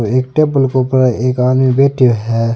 एक टेबल के ऊपर एक आदमी बैठो है।